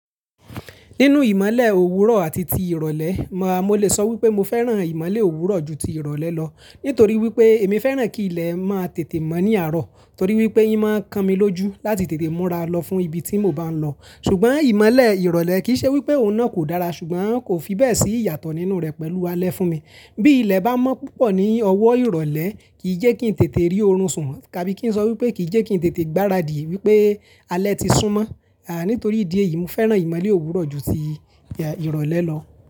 Nínú ìmọ̀le òwúrọ̀ àti ti ìrọ̀lẹ́, màá, mo lè sọ wípé mo fẹ́ràn ìmọ̀le òwúrọ̀ ju ti ìrọ̀lẹ́ lọ. Nítorí wípé èmi fẹràn kí ilẹ̀ máa tètè mọ ní arọ torí wípé ì máa ń kan mi lójú láti tètè múra lọ fún ibi tí mò ń bá lọ. Ṣùgbọ́n ìmọ̀le ìrọ̀lẹ́ kì í ṣe wípé òun náà kò dára, ṣùgbọ́n kò fi bẹ́ẹ̀ sí ìyàtọ̀ nínú rẹ̀ pẹ̀lú alẹ́ fún mi. Bí ilẹ̀ bá mọ́ púpọ̀ ní ọwọ́ ìrọ̀lẹ́, kì í jẹ́ kí n tètè rí oorun sùn, tàbí kí n sọ wípé kì í jẹ́ kí n tètè gbáradì wípé alẹ́ ti sún mọ́. Nítorí ìdí èyí mó fẹràn imọlẹ owurọ̀ jù tí irọlẹ lọ̀.